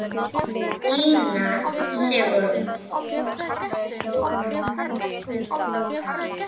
Ína Sigrún.